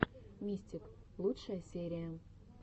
мистик лучшая серия